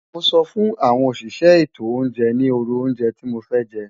Mo so fun awon osise eto ounje ni oru ounje ti mofe je.